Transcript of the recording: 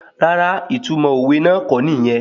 Rárá, ìtumọ̀ òwe náà kọ́ nìyẹn